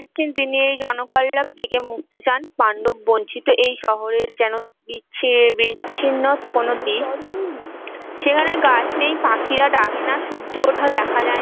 কবি জানাচ্ছেন তিনি এই জনকল্লব থেকে মুক্তি চান পাণ্ডব বঞ্চিত এই শহরের যেন বিচ্ছি বিচ্ছিন্ন কোনো দিক, সেখানে গাছ নেই পাখিরা ডাকেনা সূর্য ওঠা দেখা যায়েনা